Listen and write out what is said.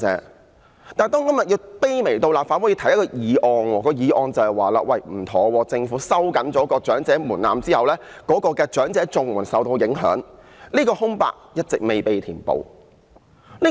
可是，立法會今天竟要卑微地提出一項議案，指出政府收緊長者門檻後，長者綜援受到影響的問題。